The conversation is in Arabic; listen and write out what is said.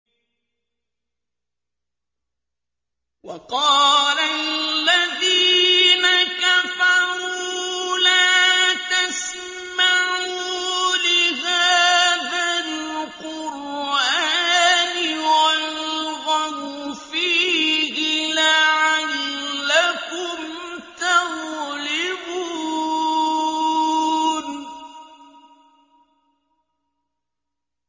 وَقَالَ الَّذِينَ كَفَرُوا لَا تَسْمَعُوا لِهَٰذَا الْقُرْآنِ وَالْغَوْا فِيهِ لَعَلَّكُمْ تَغْلِبُونَ